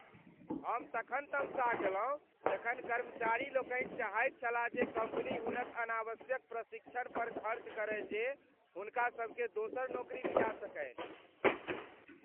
हम तखन तमसा गेलहुँ जखन कर्मचारी लोकनि चाहैत छलाह जे कम्पनी हुनक अनावश्यक प्रशिक्षण पर खर्च करय जे हुनकासभकेँ दोसर नौकरी दिया सकनि।